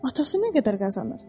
Atası nə qədər qazanır?